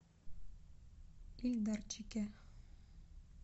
ильдарчике